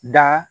Da